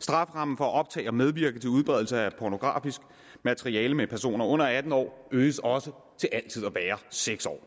strafferammen for at optage og medvirke til udbredelse af pornografisk materiale med personer under atten år øges også til altid at være seks år